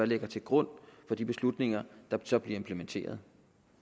ligger til grund for de beslutninger der så bliver implementeret